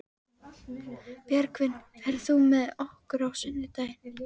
Björgvin, ferð þú með okkur á sunnudaginn?